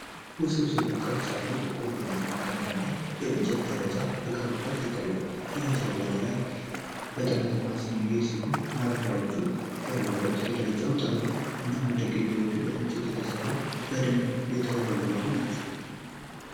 ውስብስብ ቅርጽ ያለው ጥቁር ቡናማ ቀለም ያለው የእንጨት ደረጃ በቅርብ ርቀት ይታያል። ደረጃው ወደ ላይ በመጠምዘዝ የሚሄድ ሲሆን፣ ማረፊያዎች የሉትም። የደረጃዎቹ ጠርዞች እና መደገፊያዎቹ ከእንጨት የተሠሩና በደንብ የተወለወሉ ናቸው።